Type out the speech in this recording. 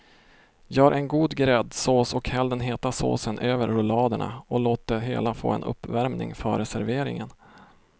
Gör en god gräddsås och häll den heta såsen över rulladerna och låt det hela få en uppvärmning före serveringen.